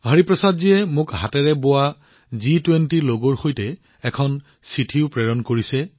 হৰিপ্ৰসাদজীয়ে মোক এই হাতেৰে বোৱা জি২০ লগৰ সৈতে এখন চিঠিও প্ৰেৰণ কৰিছে